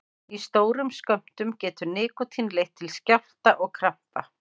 Í stórum skömmtum getur nikótín leitt til skjálfta og krampa.